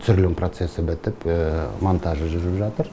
түсірілім процесі бітіп монтажы жүріп жатыр